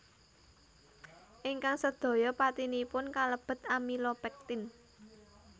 Ingkang sedaya patinipun kalebet amilopektin